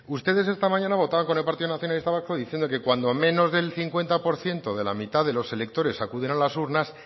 ustedes esta mañana votaban con el partido nacionalista vasco diciendo que cuando menos del cincuenta por ciento de la mitad de los electores acuden a las urnas